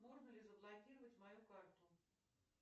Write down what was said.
можно ли заблокировать мою карту